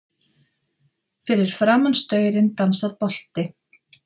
Fyrir framan staurinn dansar bolti.